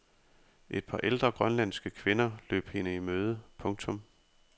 Et par ældre grønlandske kvinder løb hende i møde. punktum